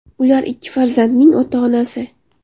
Ular ikki farzandning ota-onasi.